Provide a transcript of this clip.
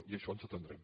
i a això ens atendrem